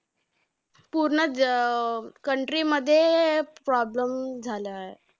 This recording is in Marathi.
पूर्ण जग अं country मध्ये problem झालायं.